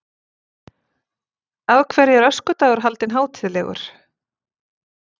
Af hverju er öskudagur haldinn hátíðlegur?